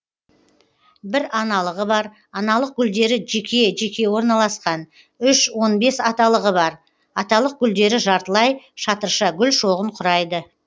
бір аналығы бар аналық гүлдері жеке жеке орналасқан үш он бес аталығы бар аталық гүлдері жартылай шатырша гүл шоғын құрайды